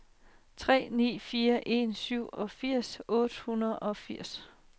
tre ni fire en syvogfirs otte hundrede og firs